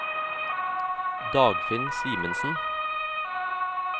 Dagfinn Simensen